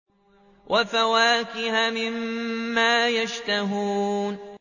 وَفَوَاكِهَ مِمَّا يَشْتَهُونَ